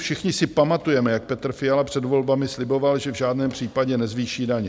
Všichni si pamatujeme, jak Petr Fiala před volbami sliboval, že v žádném případě nezvýší daně.